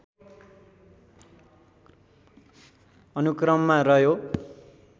अनुक्रममा रह्यो